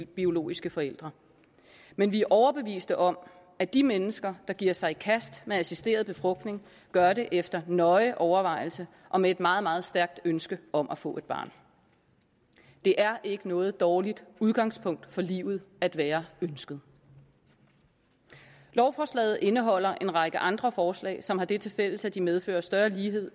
biologiske forældre men vi er overbeviste om at de mennesker der giver sig i kast med assisteret befrugtning gør det efter nøje overvejelser og med et meget meget stærkt ønske om at få et barn det er ikke noget dårligt udgangspunkt for livet at være ønsket lovforslaget indeholder en række andre forslag som har det tilfælles at de medfører større lighed